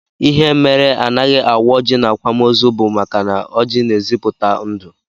Ihe mere anaghị awa ọjị n'akwamozu bụ maka na ọjị na-ezipụta ndụ